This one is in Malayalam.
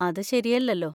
അത് ശരിയല്ലല്ലോ.